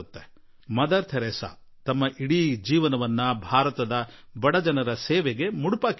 mother Teresa ತಮ್ಮ ಇಡೀ ಜೀವನವನ್ನು ಭಾರತದ ಬಡವರ ಸೇವೆಗಾಗಿ ನೀಡಿದ್ದರು